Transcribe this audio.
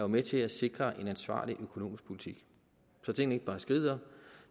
med til at sikre en ansvarlig økonomisk politik så tingene ikke bare skrider